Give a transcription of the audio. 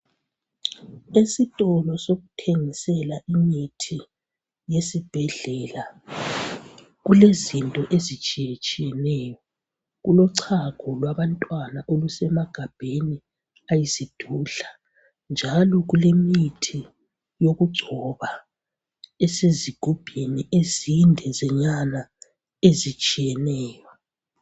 Esitolo sokuthengisela imithi esibhedlela kulezinto ezitshiyetshiyeneyo kulochago lwabantwana olusemagabheni ayisidudla njalo kulemithi yokugcoba ezisezigubhini ezindenyana ezitshiyeneyo